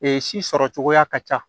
si sɔrɔ cogoya ka ca